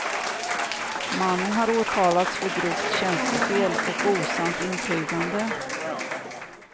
Mannen har åtalats för grovt tjänstefel och osant intygande.